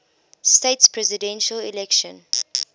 states presidential election